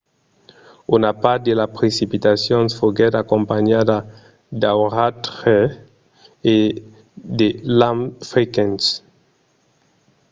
una part de las precipitacions foguèt acompanhada d'auratges e de lamps frequents